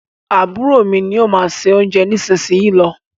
Àbúrò mí ní o má ṣe oúnjẹ nísìsiyìí ló.